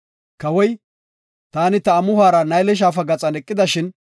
Kawoy, “Taani ta amuhora Nayle Shaafa gaxan eqidashin,